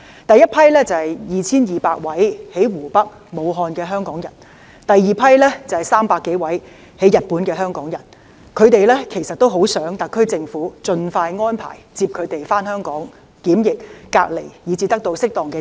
第一批是2200名身處湖北和武漢的香港人，第二批是300多名在日本的香港人，他們也很希望特區政府盡快安排接他們回港檢疫、隔離及得到適當治療。